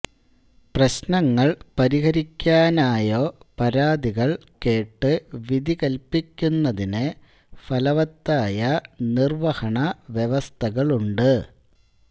പ്രശ്നങ്ങൾ പരിഹരിക്കാനായൊ പരാതികൾ കേട്ട് വിധികല്പിക്കുന്നതിന് ഫലവത്തായ നിർവ്വഹണ വ്യവസ്ഥകളുണ്ട്